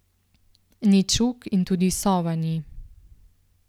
Ni čuk in tudi sova ni.